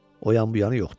O yan-bu yanı yoxdur.